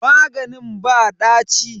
Maganin ba ɗaci.